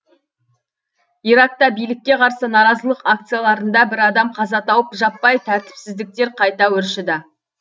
иракта билікке қарсы наразылық акцияларында бір адам қаза тауып жаппай тәртіпсіздіктер қайта өршіді